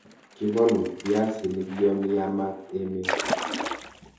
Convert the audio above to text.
Kibolu biasinik yon yamat emet.